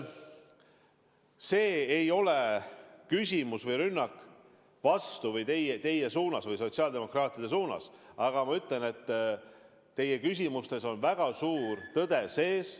See ei ole rünnak teie vastu või sotsiaaldemokraatide vastu, sest ma ütlen, et teie küsimustes on väga suur tõde sees.